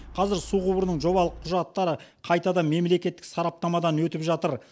қазір су құбырының жобалық құжаттары қайтадан мемлекеттік сараптамадан өтіп жатыр